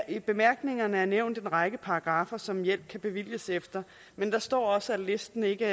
i bemærkningerne er nævnt en række paragraffer som hjælp kan bevilges efter men der står også at listen ikke